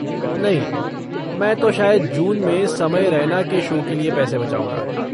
नहीं, मैं तो शायद जून में समय रैना के शो के लिये पैसे बचाऊँगा।